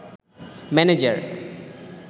manager